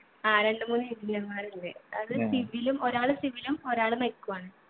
ആ രണ്ടു മൂന്ന് engineer മാരുണ്ട് അത് civil ഉം ഒരാള് civil ഉം ഒരാള് mech ഉ ആണ്